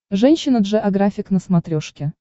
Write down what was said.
женщина джеографик на смотрешке